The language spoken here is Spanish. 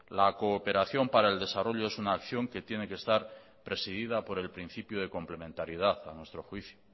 la cooperación para el desarrollo es una acción que tiene que estar presidida por el principio de complementariedad a nuestro juicio